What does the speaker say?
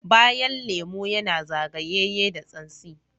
Bayan lemu yana zagayeye da tsansi.